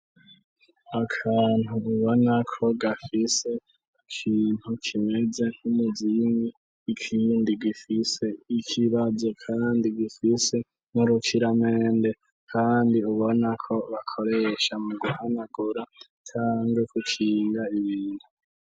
Akantu ubona ko gafise ikintu kimeze nk'umuzingi ikindi gifise ikibazo, kandi gifise n'urukiramende, kandi ubona ko bakoresha mu guhanagura cange kucinga ibintu.